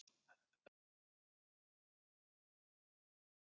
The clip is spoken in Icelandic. Hugtakið jafnrétti má skilja á mismunandi vegu.